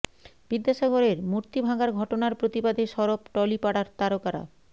বিদ্যাসাগরের মূর্তি ভাঙার ঘটনার প্রতিবাদে সরব টলি পাড়ার তারকারা